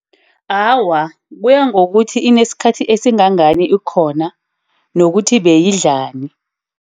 Awa, kuya ngokuthi inesikhathi esingangani ikhona nokuthi beyidlani.